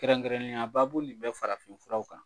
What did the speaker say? Kɛnrɛnnenya baabu nin bɛ farafin furaw kan.